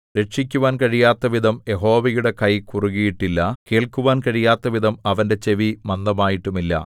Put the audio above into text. രക്ഷിക്കുവാൻ കഴിയാത്തവിധം യഹോവയുടെ കൈ കുറുകീട്ടില്ല കേൾക്കുവാൻ കഴിയാത്തവിധം അവന്റെ ചെവി മന്ദമായിട്ടുമില്ല